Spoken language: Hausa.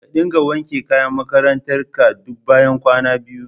Ka dinga wanke kayan makarantar ka duk bayan kwana biyu